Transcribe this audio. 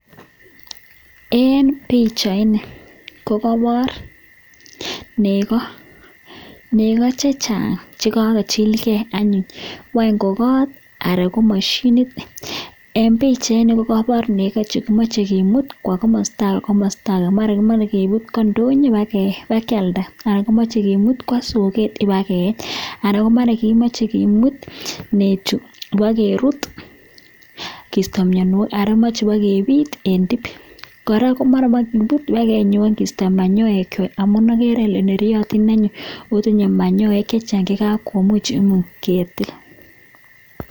En pichaini ko kobor nekoo, nekoo chechang cekachilke anyun, wany ko koot anan ko moshinit, en pichaini ko kobor nekoo chemoche kimu kwoo komosto akee maran komoe kinyokimut kwoo ndonyo bakialda anan kimoche kimut kwoo soket ibakeeny anan kemoche kimut nechuu ibokerut kisto mionwokik anan moche bokebit en tiip, koraa ko mara moe kimut kibakenyoan kisto manyoekwak amun okere olee neriotin anyun otinye manyoek chechang chekakomuch ketil.